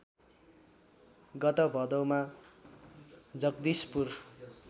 गत भदौमा जगदीशपुर